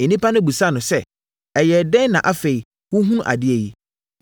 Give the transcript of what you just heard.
Nnipa no bisaa no sɛ, “Ɛyɛɛ dɛn na afei wohunu adeɛ yi?”